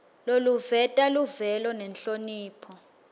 loluveta luvelo nenhlonipho